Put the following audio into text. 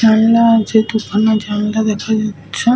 জানলা আছে দু-খানা জানলা দেখা যাচ্ছে।